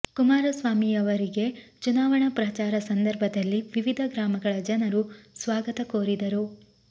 ಕುಮಾರಸ್ವಾಮಿಯವರಿಗೆ ಚುನಾವಣಾ ಪ್ರಚಾರ ಸಂದರ್ಭದಲ್ಲಿ ವಿವಿಧ ಗ್ರಾಮಗಳ ಜನರು ಸ್ವಾಗತ ಕೋರಿದರು